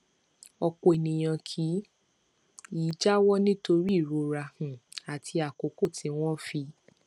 ọpọ ènìyàn kì í jáwọ nítorí ìrora um àti àkókò tí wọn fi